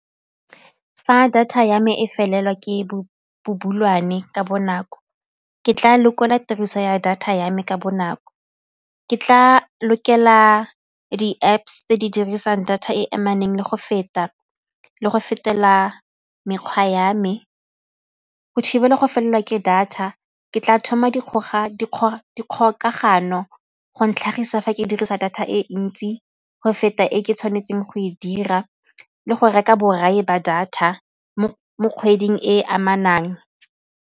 Fa data ya me e felelwa ke ka bonako ke tla lekola tiriso ya data ya me ka bonako, ke tla lokela di-Apps tse di dirisang data e amaneng le go feta le go fetela mekgwa ya me. Go thibela go felelwa ke data ke tla thoma dikgokagano go ntlhagisa fa ke dirisa data e ntsi go feta e ke tshwanetseng go e dira le go reka borai ba data mo kgweding e e amanang.